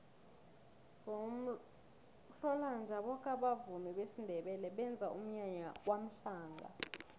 ngomhlolanja boke abavumi besindebele benza umnyanya kwamhlanga